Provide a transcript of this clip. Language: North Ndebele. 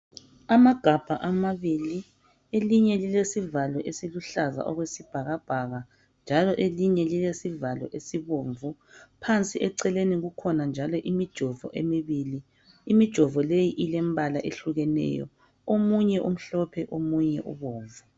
Amagabha amabili elinye lile sivalo esiluhlaza okwesibhakabhaka elinye lilesivalo esibomvu phansi eceleni kukhona njalo mijovo emibili imijovu leyi ilombala ohlukeneyo omunye umhlophe omunye ubomvu.